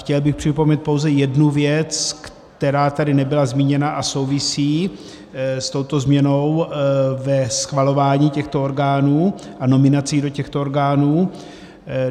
Chtěl bych připomenout pouze jednu věc, která tady nebyla zmíněna a souvisí s touto změnou ve schvalování těchto orgánů a nominací do těchto orgánů.